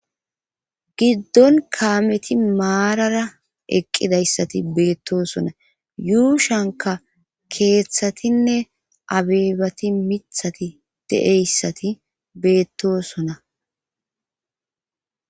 Gidon kameti marara eqqidayssati beetosona yuushuwankka keeththtinne abebati miththati de'iyassati beetosoa.